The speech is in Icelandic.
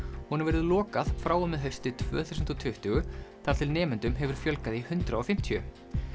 honum verður lokað frá og með hausti tvö þúsund og tuttugu þar til nemendum hefur fjölgað í hundrað og fimmtíu